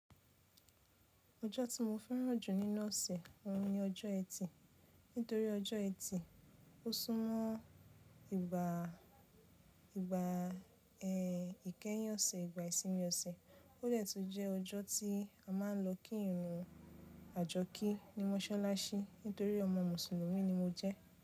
Ọjọ́ tí mo fẹ́ràn jù nínú ọ̀sẹ̀, òun ni ọjọ́ ẹtì. Nítorí ọjọ́ ẹtì, ó súnmọ́ ìgbà, ìgbà ẹ ìkẹyìn ọ̀sẹ̀, ìgbà ìsinmi ọ̀sẹ̀. Ó dẹ̀ tún jẹ́ ọjọ́ tí a máa ń lo kí ìran À jọ kẹ́ ní Mọ́sọ́láṣí. Nítorí ọmọ Mùsùlùmí ni mo jẹ́.